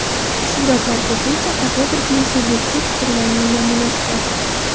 Suratlar ko‘pincha fotografning subyektiv fikrining namunasidir.